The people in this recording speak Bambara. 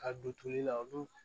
Ka don toli la olu